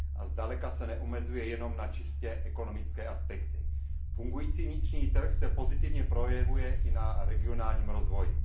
Zdaleka se neomezuje jenom na čistě ekonomické aspekty. Fungující vnitřní trh se pozitivně projevuje i na regionálním rozvoji.